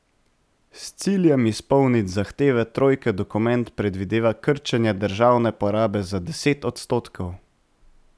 S ciljem izpolniti zahteve trojke dokument predvideva krčenje državne porabe za deset odstotkov.